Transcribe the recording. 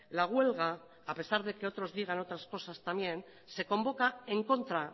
la huelga a pesar de que otros digan otras cosas también se convoca en contra